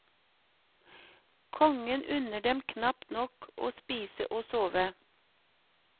Kongen unner dem knapt nok å spise og sove.